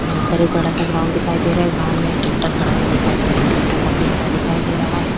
यहाँ पर एक बड़ा सा ग्राउंड दिखाई दे रहा है। ग्राउंड में ट्रैक्टर खड़ा हुआ दिखाई दे रहा है। ट्रैक्टर काफी बड़ा दिखाई दे रहा है।